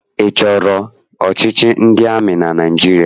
Ị chọrọ ọchịchị ndị amị na Naịjirịa?